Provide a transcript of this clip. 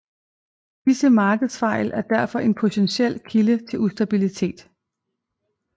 Disse markedsfejl er derfor en potentiel kilde til ustabilitet